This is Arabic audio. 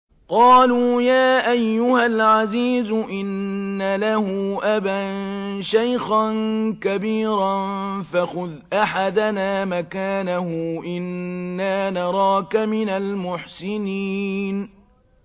قَالُوا يَا أَيُّهَا الْعَزِيزُ إِنَّ لَهُ أَبًا شَيْخًا كَبِيرًا فَخُذْ أَحَدَنَا مَكَانَهُ ۖ إِنَّا نَرَاكَ مِنَ الْمُحْسِنِينَ